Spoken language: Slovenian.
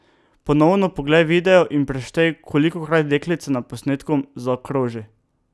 Ponovno poglej video in preštej, kolikokrat deklica na posnetku zakroži.